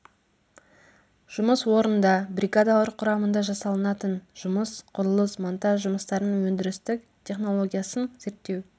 жұмыс орнында бригадалар құрамында жасалынатын жұмыс құрылыс монтаж жұмыстарының өндірістік технологиясын зерттеу